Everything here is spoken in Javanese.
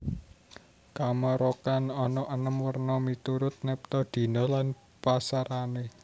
Kamarokan ana enem werna miturut neptu dina lan pasarané